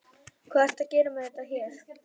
Hvað ertu að gera með þetta hér?